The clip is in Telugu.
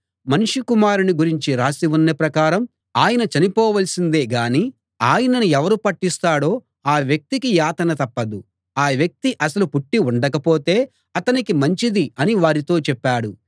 మనుష్య కుమారుణ్ణి గురించి రాసి ఉన్న ప్రకారం ఆయన చనిపోవలసిందే గాని ఆయనను ఎవరు పట్టిస్తాడో ఆ వ్యక్తికి యాతన తప్పదు ఆ వ్యక్తి అసలు పుట్టి ఉండకపోతే అతనికి మంచిది అని వారితో చెప్పాడు